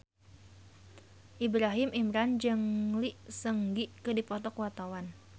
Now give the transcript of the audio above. Ibrahim Imran jeung Lee Seung Gi keur dipoto ku wartawan